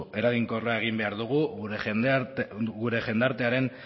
eraginkorra egin behar dugu gure jendartearen